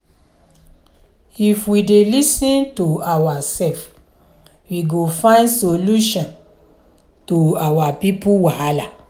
if we dey lis ten to oursef we go find solution to our pipo wahala.